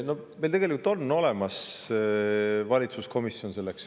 Meil on tegelikult olemas valitsuskomisjon.